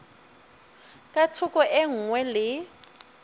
ka thoko e nngwe le